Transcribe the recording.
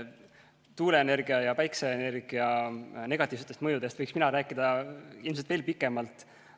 Tuuleenergia ja päikseenergia negatiivsetest mõjudest võiksin mina rääkida ilmselt veel pikemalt.